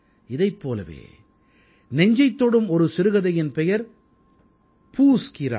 இதைப் போலவே நெஞ்சைத் தொடும் ஒரு சிறுகதையின் பெயர் பூஸ் கீ ராத்